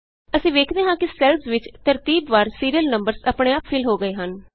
ਅਸੀਂ ਵੇਖਦੇ ਹਾਂ ਕਿ ਸੈੱਲਸ ਵਿਚ ਤਰਤੀਬਵਾਰ ਸੀਰੀਅਲ ਨੰਬਰਸ ਆਪਣੇ ਆਪ ਫਿਲ ਹੋ ਗਏ ਹਨ